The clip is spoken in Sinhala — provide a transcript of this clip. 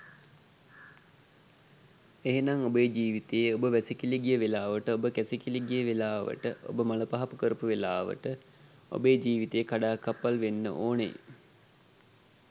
එහෙනම් ඔබේ ජීවිතයේ ඔබ වැසිකිලි ගිය වෙලාවට ඔබ කැසිකිලි ගිය වෙලාවට ඔබ මළපහකරපු වෙලාවට ඔබේ ජීවිතය කඩාකප්පල් වෙන්න ඕනෙ.